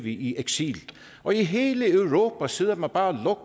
i eksil og i hele europa sidder man bare